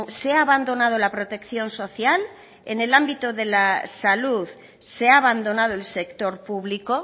se ha abandonado la protección social en el ámbito de la salud se ha abandonado el sector público